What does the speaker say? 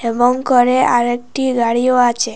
এবং করে আরেকটি গাড়িও আছে।